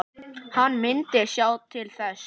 Hann myndi sjá til þess.